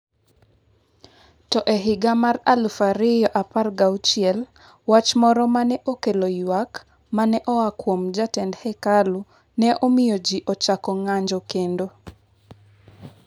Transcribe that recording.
To e higa mar aluf ariyo apargi auchiel, wach moro ma ne okelo ywak ma ne oa kuom jatend hekalu ne omiyo ji ochako ng’anjo kendo.